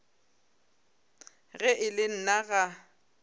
ge e le nna ga